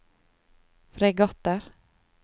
fregatter